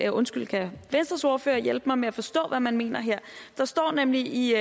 og måske kan venstres ordfører hjælpe mig med at forstå hvad man mener her der står nemlig i